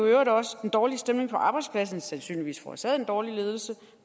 i øvrigt også den dårlige stemning på arbejdspladsen sandsynligvis forårsaget af den dårlige ledelse